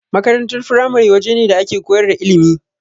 Makarantar firamare wajene da ake koyar da ilimi.